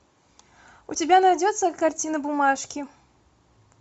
у тебя найдется картина бумажки